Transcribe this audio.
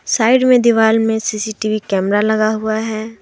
Side में दिवाल में सी_सी_टी_वी कैमरा लगा हुआ है।